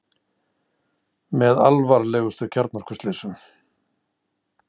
Með alvarlegustu kjarnorkuslysum